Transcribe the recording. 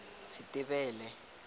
setebele